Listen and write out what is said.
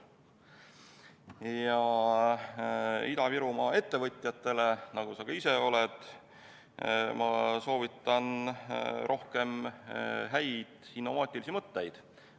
Ja Ida-Virumaa ettevõtjatele, nagu sa ka ise oled, ma soovitan rohkem häid innovaatilisi mõtteid.